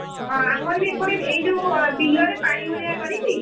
ହଁ ଆମର ବି ଏପଟେ ଏଇଯୋଉ ବିଲରେ ପାଇ ଭଳିଆ କରିକି।